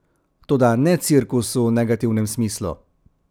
Toda ne cirkus v negativnem smislu.